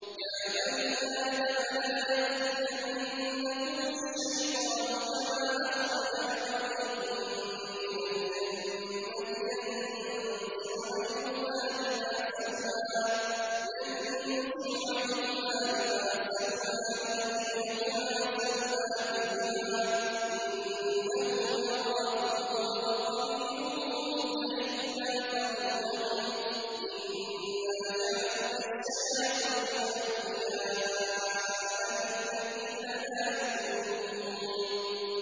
يَا بَنِي آدَمَ لَا يَفْتِنَنَّكُمُ الشَّيْطَانُ كَمَا أَخْرَجَ أَبَوَيْكُم مِّنَ الْجَنَّةِ يَنزِعُ عَنْهُمَا لِبَاسَهُمَا لِيُرِيَهُمَا سَوْآتِهِمَا ۗ إِنَّهُ يَرَاكُمْ هُوَ وَقَبِيلُهُ مِنْ حَيْثُ لَا تَرَوْنَهُمْ ۗ إِنَّا جَعَلْنَا الشَّيَاطِينَ أَوْلِيَاءَ لِلَّذِينَ لَا يُؤْمِنُونَ